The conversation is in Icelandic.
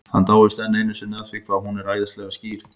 Hann dáist enn einu sinni að því hvað hún er æðislega skýr.